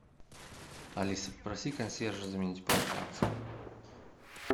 алиса попроси консьержа заменить полотенца